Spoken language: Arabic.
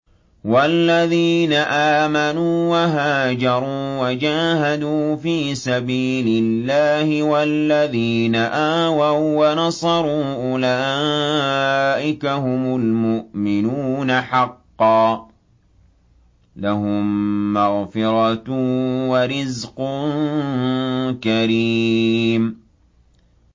وَالَّذِينَ آمَنُوا وَهَاجَرُوا وَجَاهَدُوا فِي سَبِيلِ اللَّهِ وَالَّذِينَ آوَوا وَّنَصَرُوا أُولَٰئِكَ هُمُ الْمُؤْمِنُونَ حَقًّا ۚ لَّهُم مَّغْفِرَةٌ وَرِزْقٌ كَرِيمٌ